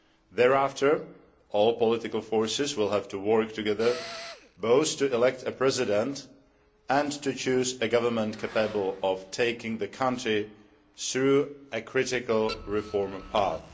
Thereafter, all political forces will have to work together, both to elect a President and to choose a government capable of taking the country through a critical reform path.